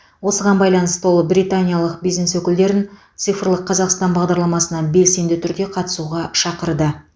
осыған байланысты ол британиялық бизнес өкілдерін цифрлық қазақстан бағдарламасына белсенді түрде қатысуға шақырды